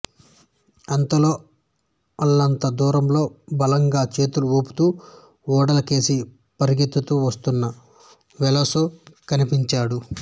అంతలో అల్లంత దూరంలో బలంగా చేతులు ఊపుతూ ఓడల కేసి పరుగెత్తుతూ వస్తున్న వెలోసో కనిపించాడు